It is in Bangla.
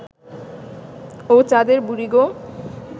ও চাঁদের বুড়ি গো